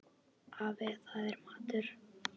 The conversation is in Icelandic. Afi, það er matur